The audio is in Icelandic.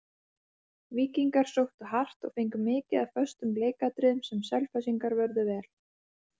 Víkingar sóttu hart, og fengu mikið af föstum leikatriðum sem Selfyssingar vörðust vel.